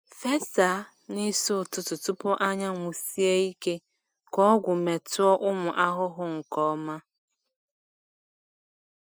Fesa n’isi ụtụtụ tupu anyanwụ sie ike ka ọgwụ metụọ ụmụ ahụhụ nke ọma.